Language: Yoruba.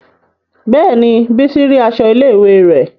Bẹ́ẹ̀ni, bísí rí aṣọ ilé ìwé rẹ̀